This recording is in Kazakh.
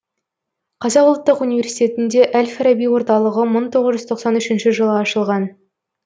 қазақ ұлттық университетінде әл фараби орталығы мың тоғңыз жүз тоқсан үшінші жылы ашылған